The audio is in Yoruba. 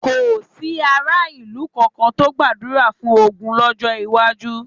Kò sí aráàlú kankan tó gbàdúrà fún ogun lọ́jọ́ iwájú.